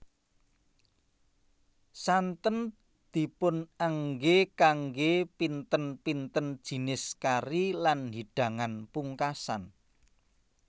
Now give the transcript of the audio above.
Santen dipunengge kangge pinten pinten jinis kari lan hidangan pugkasan